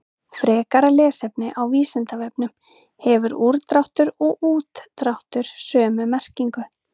Frekara lesefni á Vísindavefnum: Hefur úrdráttur og útdráttur sömu merkingu?